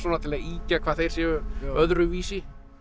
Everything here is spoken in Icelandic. til að ýkja hvað þeir séu öðruvísi